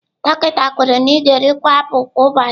Dọkịta kwuru na ị ga-erikwu apụl kwa ụbọchị.